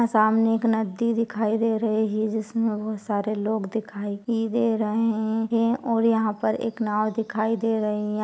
सामने एक नदी दिखाई दे रही है जिसमे वह बहुत सारे लोग दिखाई दे रहे है और यहा पर एक नाव दिखाई दे रही है।